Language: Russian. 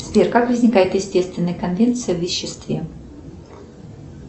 сбер как возникает естественная конвенция в веществе